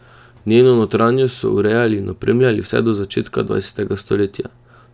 Njeno notranjost so urejali in opremljali vse do začetka dvajsetega stoletja.